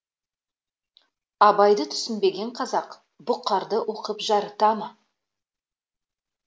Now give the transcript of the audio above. абайды түсінбеген қазақ бұқарды оқып жарыта ма